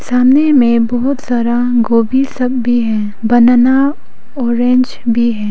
सामने में बहोत सारा गोभी सब भी है बनाना ऑरेंज भी है।